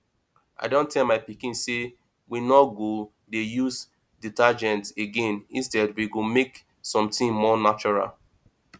i don tell my pikin say we no go dey use detergent again instead we go make something more natural